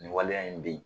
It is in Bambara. Nin waleya in bɛ yen